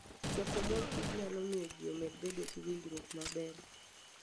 Choko mor kich nyalo miyo ji omed bedo gi winjruok maber.